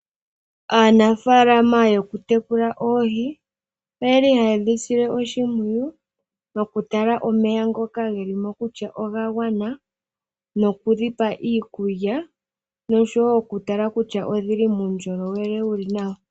Aanafalama yokutekela oohii oyeli hayedhisile oshipwiyu nokutala omeya ngoka ngelimo kutya ongangwana nokudhipa iikulya noshowo okutala kutya odhili mundjolowele wuli nawa.